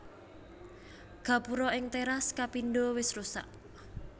Gapura ing téras kapindho wis rusak